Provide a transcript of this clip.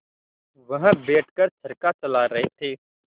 वह बैठ कर चरखा चला रहे थे